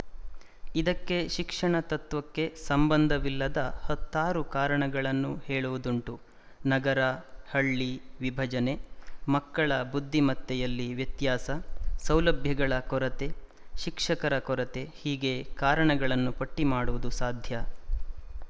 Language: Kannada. ಇದಕ್ಕೆ ಶಿಕ್ಷಣತತ್ತ್ವಕ್ಕೆ ಸಂಬಂಧವಿಲ್ಲದ ಹತ್ತಾರು ಕಾರಣಗಳನ್ನು ಹೇಳುವುದುಂಟು ನಗರಹಳ್ಳಿ ವಿಭಜನೆ ಮಕ್ಕಳ ಬುದ್ಧಿಮತ್ತೆಯಲ್ಲಿ ವ್ಯತ್ಯಾಸ ಸೌಲಭ್ಯಗಳ ಕೊರತೆ ಶಿಕ್ಷಕರ ಕೊರತೆ ಹೀಗೆ ಕಾರಣಗಳನ್ನು ಪಟ್ಟಿ ಮಾಡುವುದು ಸಾಧ್ಯ